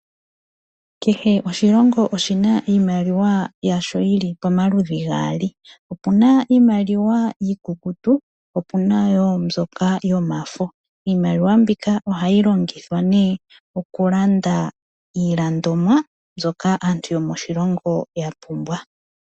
Kehe oshilongo oshina iimaliwa yasho yili pomaludhi gaali. Opuna iimaliwa iikukutu, po opuna wo mbyoka yomafo. Iimaliwa mbika ohayi longithwa nee okulanda iilandomwa mbyoka aantu yomoshilongo ya pumbwa.